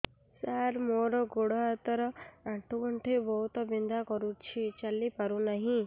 ସାର ମୋର ଗୋଡ ହାତ ର ଆଣ୍ଠୁ ଗଣ୍ଠି ବହୁତ ବିନ୍ଧା କରୁଛି ଚାଲି ପାରୁନାହିଁ